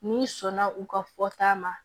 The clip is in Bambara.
N'i sɔnna u ka fɔta ma